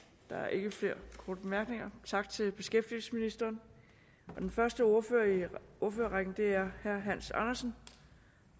der er ikke flere korte bemærkninger tak til beskæftigelsesministeren den første ordfører i ordførerrækken er herre hans andersen